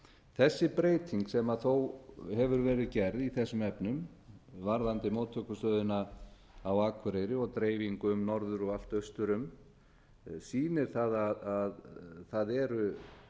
þessi breyting sem þó hefur verið gerð í þessum efnum varðandi móttökustöðina á akureyri og dreifingu um norður og allt austur um sýnir það að það eru